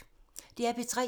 DR P3